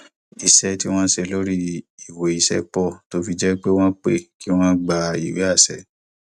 ìṣe tí wón ń ṣe lórí ìwé iṣẹ pọ tó fi jẹ pé wọn pé kí wọn gba ìwé àṣẹ